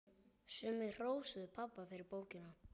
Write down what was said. Sumir hrósuðu pabba fyrir bókina.